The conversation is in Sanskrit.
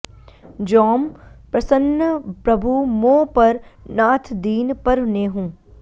जौं प्रसन्न प्रभु मो पर नाथ दीन पर नेहु